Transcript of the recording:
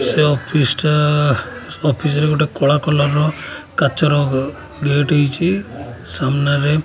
ସେ ଅଫିସ ଟା ଆ ଅଫିସ ରେ ଗୋଟେ କଳା କଲର୍ ର କାଚର ଗେଟ୍ ହେଇଛି ସାମ୍ନାନାରେ --